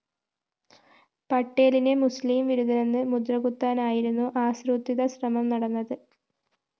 പട്ടേലിനെ മുസ്ലിം വിരുദ്ധനെന്ന് മുദ്രകുത്താനായിരുന്നു ആസൂത്രിത ശ്രമം നടന്നത്